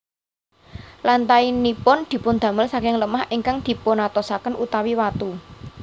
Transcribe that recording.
Lantainipun dipundamel saking lemah ingkang dipunatosaken utawi watu